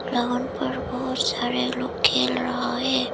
Ground पर बहुत सारे लोग खेल रहा है।